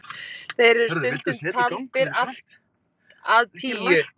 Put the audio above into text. Þeir eru stundum taldir allt að tíu.